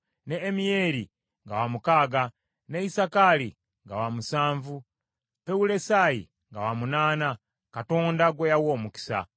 ne Ammiyeri nga wamukaaga, ne Isakaali nga wa musanvu, Pewulesayi nga wa munaana, Katonda gwe yawa omukisa.